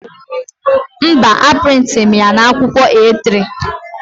Mba, a prịntịrị m ya na akwụkwọ A3